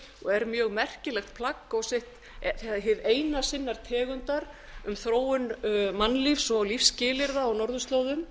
og er mjög merkilegt plagg og hið eina sinnar tegundar um þróun mannlíf og lífsskilyrða á norðurslóðum